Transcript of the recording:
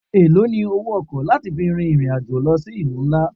Èlòó ni owó ọkọ̀ láti fi fin ìrìn-àjò lọ sí ìlú náà?